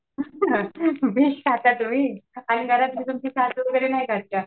Fish खाता तुम्ही? आणि घरात तुमच्या सासू वगैरे नाही खात का?